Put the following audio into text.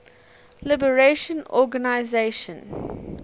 liberation organization plo